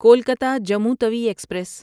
Kolkata Jammu Tawi express